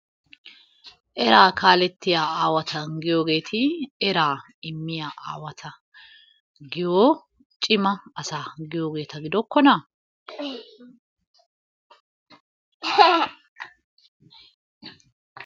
Eraa kaalettiya aawata giyoogeeti eraa immiya aawata giyo cimma asa giyoogeta gidokkonaa?